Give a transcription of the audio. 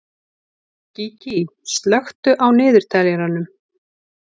Gígí, slökktu á niðurteljaranum.